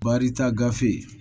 Barita gafe